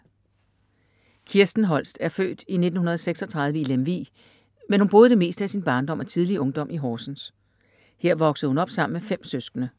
Kirsten Holst er født i 1936 i Lemvig, men hun boede det meste af sin barndom og tidlige ungdom i Horsens. Her voksede hun op sammen med 5 søskende.